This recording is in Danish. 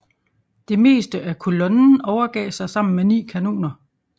Det meste af kolonnen overgav sig sammen med ni kanoner